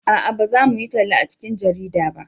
a'a na za mu yi talla a cikin jarida ba